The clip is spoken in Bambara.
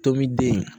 Tobi den